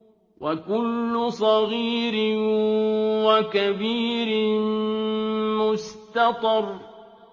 وَكُلُّ صَغِيرٍ وَكَبِيرٍ مُّسْتَطَرٌ